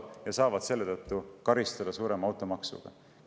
Neid karistatakse selle tõttu suurema automaksuga.